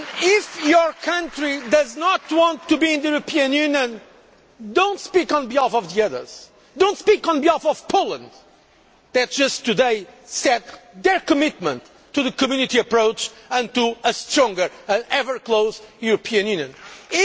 If your country does not want to be in the European Union, do not speak on behalf of the others, do not speak on behalf of Poland, that just today set their commitment to the Community approach and to a stronger and ever closer European Union.